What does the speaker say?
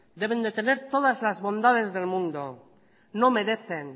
deben de tener todas las bondades del mundo no merecen